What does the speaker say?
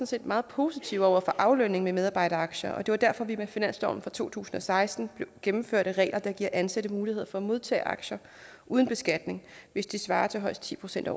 set meget positiv over for aflønningen med medarbejderaktier og det er derfor at vi med finansloven for to tusind og seksten gennemførte regler der giver ansatte muligheder for at modtage aktier uden beskatning hvis det svarer til højst ti procent af